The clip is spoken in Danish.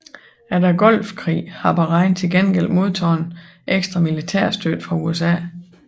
Efter Golfkrigen har Bahrain til gengæld modtaget ekstra militærstøtte fra USA